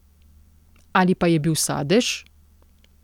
Ali pa je bil Sadež?